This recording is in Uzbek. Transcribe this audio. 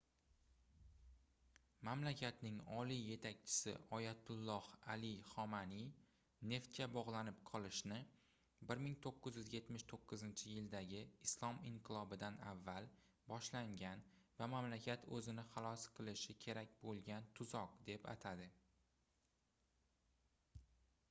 mamlakatning oliy yetakchisi oyatulloh ali xomanaiy neftga bogʻlanib qolishni 1979-yildagi islom inqilobidan avval boshlangan va mamlakat oʻzini xalos qilishi kerak boʻlgan tuzoq deb atadi